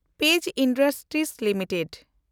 page industries limited